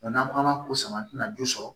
n'an ko an ma ko sama an tina jo sɔrɔ